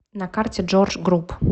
на карте джордж груп